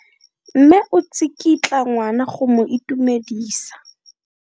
Mme o tsikitla ngwana go mo itumedisa.